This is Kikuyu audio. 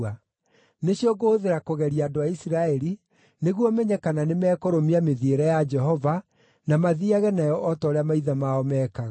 Nĩcio ngũhũthĩra kũgeria andũ a Isiraeli, nĩguo menye kana nĩmekũrũmia mĩthiĩre ya Jehova, na mathiiage nayo o ta ũrĩa maithe mao meekaga.”